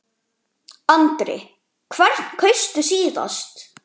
Andri: Hvern kaustu síðast?